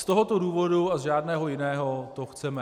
Z tohoto důvodu a z žádného jiného to chceme.